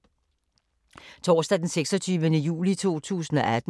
Torsdag d. 26. juli 2018